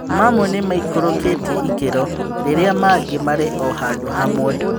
Mamwe nĩ maikũrũkĩtie ikĩro rĩrĩa mangĩ marĩ o handu hamwe.